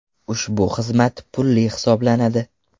Ushbu xizmat pulli hisoblanadi.